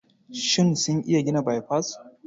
Shin sun iya gina baifas?